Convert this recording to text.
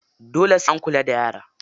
Dole sai an kula da yara.